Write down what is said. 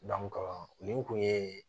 nin kun ye